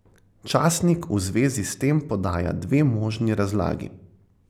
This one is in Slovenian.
Časnik v zvezi s tem podaja dve možni razlagi.